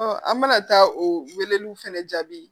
an bɛna taa o weleliw fɛnɛ jaabi